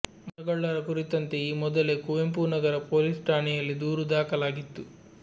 ಮರಗಳ್ಳರ ಕುರಿತಂತೆ ಈ ಮೊದಲೇ ಕುವೆಂಪುನಗರ ಪೊಲೀಸ್ ಠಾಣೆಯಲ್ಲಿ ದೂರು ದಾಖಲಾಗಿತ್ತು